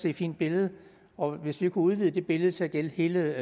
et fint billede og hvis vi kunne udvide det billede til at gælde hele